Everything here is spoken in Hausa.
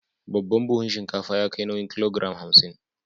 Babban buhun shinkafa ya kai nauyin kilogiram hamsin.